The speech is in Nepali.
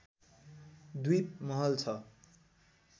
द्वीप महल छ